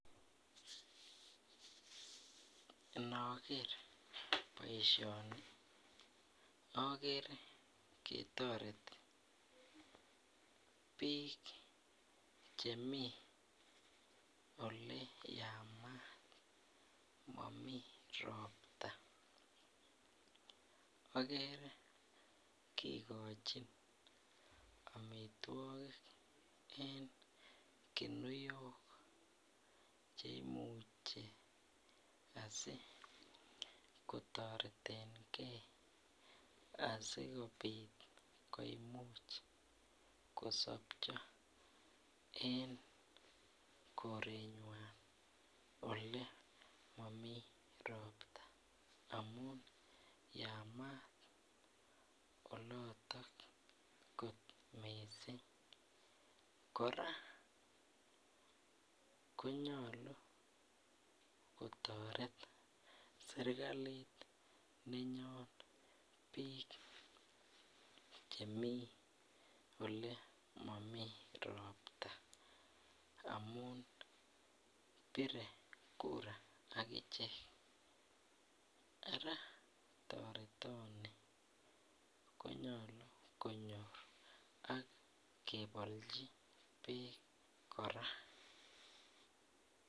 Inoker boisioni akere ketoreti biik chemii oleyamat momii ropta ,akere kikochin amitwogik en kunioko cheimuche asikotoretengee asikobit koimuch kosopcho en korenywany olemomii ropta amun yamat oloton kot missing kora konyolu kotoret serikalit nenyon biik chemi ole momii ropta amun bire kura akichek, ara toretoni konyolu konyor akebolchi beek kora.